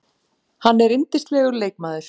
Hann er yndislegur leikmaður